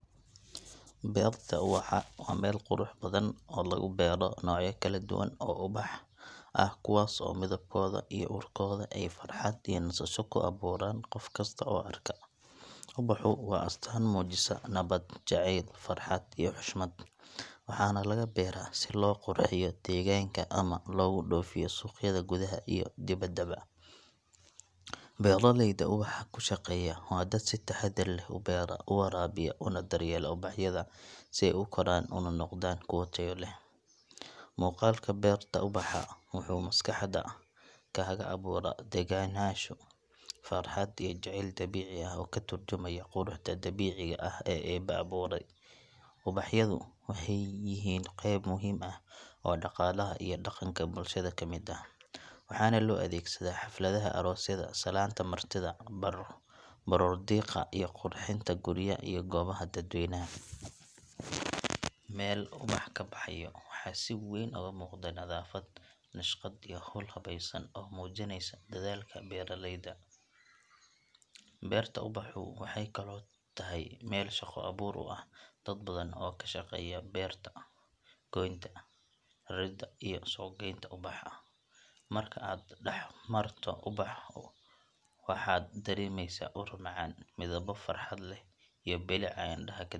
Beerta ubaxa waa meel qurux badan oo lagu beero noocyo kala duwan oo ubax ah kuwaas oo midabkooda iyo urkooda ay farxad iyo nasasho ku abuuraan qof kasta oo arka. Ubaxu waa astaan muujisa nabad, jaceyl, farxad iyo xushmad, waxaana laga beeraa si loo qurxiyo deegaanka ama loogu dhoofiyo suuqyada gudaha iyo dibaddaba. Beeraleyda ubaxa ku shaqeeya waa dad si taxaddar leh u beera, u waraabiya, una daryeela ubaxyada si ay u koraan una noqdaan kuwo tayo leh. Muuqaalka beerta ubaxa wuxuu maskaxda kaaga abuuraa degganaansho, farxad iyo jaceyl dabiici ah oo ka turjumaya quruxda dabiiciga ah ee Eebbe abuuray. Ubaxyadu waxay yihiin qeyb muhiim ah oo dhaqaalaha iyo dhaqanka bulshada ka mid ah, waxaana loo adeegsadaa xafladaha aroosyada, salaanta martida, baroordiiqda iyo qurxinta gurya iyo goobaha dadweynaha. Meel ubax ka baxayo waxaa si weyn uga muuqda nadaafad, nashqad iyo hawl habaysan oo muujinaysa dedaalka beeraleyda. Beerta ubaxu waxay kaloo tahay meel shaqo abuur u ah dad badan oo ka shaqeeya beenta, goynta, raridda iyo suuqgaynta ubaxa. Marka aad dhex marto beerta ubaxa waxaad dareemaysaa ur macaan, midabbo farxad leh iyo bilic aan indhaha ka daalin.